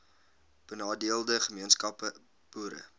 benadeelde gemeenskappe boere